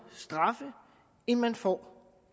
straffe end man får